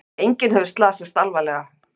Enginn hefur slasast alvarlega